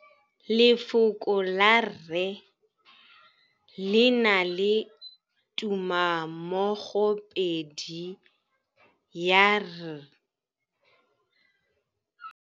Lefoko la rre, le na le tumammogôpedi ya, r.